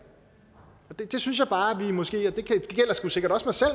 der synes jeg bare at vi måske og det gælder sgu sikkert